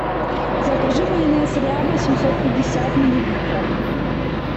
закажи майонез ряба семьсот пятьдесят миллилитров